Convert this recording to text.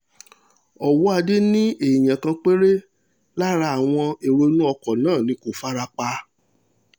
ọwọ́adé ni èèyàn kan péré lára àwọn èrò inú ọkọ̀ náà ní kó fara pa